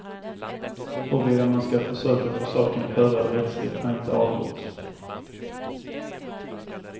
Huruvida man ska försöka få saken prövad rättsligt är inte avgjort.